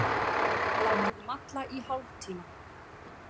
Látið malla í hálftíma.